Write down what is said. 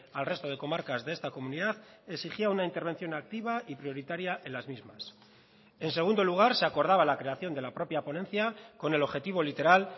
al resto de comarcas de esta comunidad exigía una intervención activa y prioritaria en las mismas en segundo lugar se acordaba la creación de la propia ponencia con el objetivo literal